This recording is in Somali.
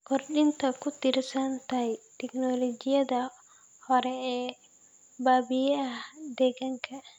Kordhinta ku tiirsanaanta tignoolajiyada hore ee baabi'iya deegaanka.